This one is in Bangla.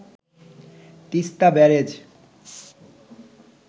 তিস্তা ব্যারেজ